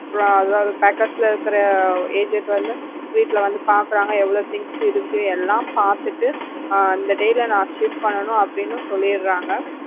அதாவது packers ல இருக்கிற agent வந்து வீட்ல வந்து பாக்குறாங்க எவ்ளோ things இருக்கு எல்லாம் பாத்துட்டு இந்த day ல நான் shift பண்ணனும் அப்படின்னு சொல்லிடறாங்க.